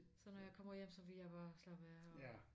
Så når jeg kommer hjem så vil jeg bare slappe af og